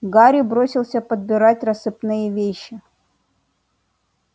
гарри бросился подбирать рассыпные вещи